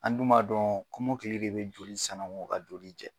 An dun b'a dɔn kɔmɔkili de bɛ joli sanago ka joli jɛ.